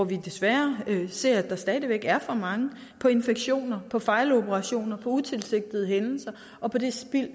vi desværre stadig væk ser for mange af infektioner fejloperationer utilsigtede hændelser og på det spild